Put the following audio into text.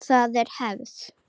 Það er hefð!